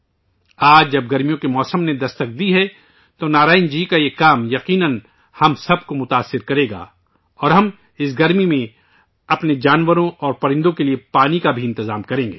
آج جب گرمیوں کے موسم نے دستک دی ہے، نارائنن جی کا یہ کام یقیناً ہم سب کو متاثر کرے گا اور ہم اس گرمی میں اپنے دوست جانوروں اور پرندوں کے لئے پانی کا بھی بندوبست کریں گے